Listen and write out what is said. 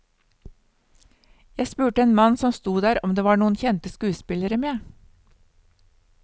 Jeg spurte en mann som stod der om det var noen kjente skuespillere med.